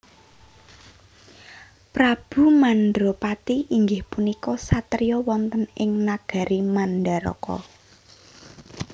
Prabu Mandrapati inggih punika satriya wonten ing nagari Mandaraka